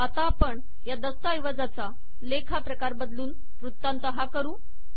आता आपण या दस्तऐवजाचा लेख हा प्रकार बदलून वृत्तांत हा करू